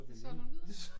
Det solgt hun videre?'